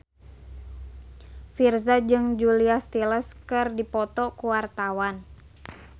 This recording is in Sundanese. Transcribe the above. Virzha jeung Julia Stiles keur dipoto ku wartawan